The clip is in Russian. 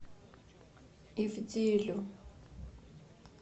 ивделю